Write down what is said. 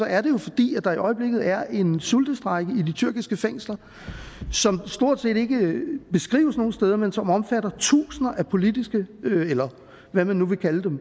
er det jo fordi der i øjeblikket er en sultestrejke i de tyrkiske fængsler som stort set ikke beskrives nogen steder men som omfatter tusinder af politiske eller hvad man nu vil kalde dem